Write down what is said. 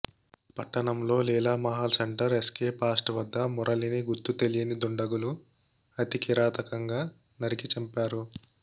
పట్టణంలోని Leelamahal centre S K పాస్ట్ వద్ద మురళిని గుర్తు తెలియని దుండగులు అతికిరాతకంగా నరికి చంపారు